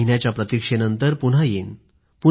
एक महिन्याच्या प्रतीक्षेनंतर पुन्हा येईन